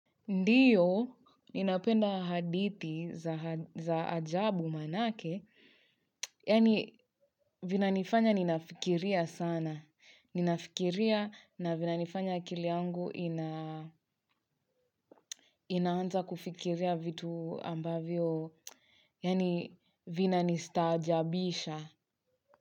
Ndiyo, ninapenda hadithi za ajabu manake, yani vinanifanya ninafikiria sana. Ninafikiria na vinanifanya akili yangu inaanza kufikiria vitu ambavyo, yani vinanistaajabisha.